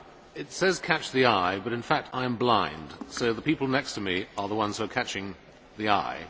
It says catch the eye but in fact I am blind, so the people next to me are the ones who are catching the eye.